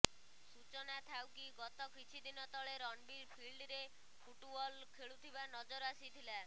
ସୂଚନାଥାଉ କି ଗତ କିଛିଦିନ ତଳେ ରଣବୀର ଫିଲ୍ଡରେ ଫୁଟ୍ବଲ୍ ଖେଳୁଥିବା ନଜର ଆସିଥିଲା